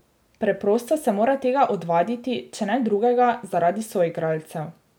Preprosto se mora tega odvaditi, če ne drugega, zaradi soigralcev.